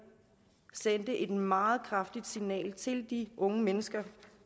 sendte et meget kraftigt signal til de unge mennesker